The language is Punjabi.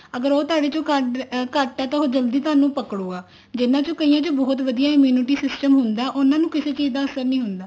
ਅਗਰ ਉਹ ਤੁਹਾਡੇ ਚ ਘੱਟ ਹੈ ਤਾਂ ਉਹ ਜਲਦੀ ਤੁਹਾਨੂੰ ਪਕੜਗਾ ਜਿਹਨਾ ਚ ਕਈਆਂ ਚ ਬਹੁਤ ਵਧੀਆ immunity system ਹੁੰਦਾ ਉਹਨਾ ਨੂੰ ਕਿਸੇ ਚੀਜ਼ ਦਾ ਅਸਰ ਨੀ ਹੁੰਦਾ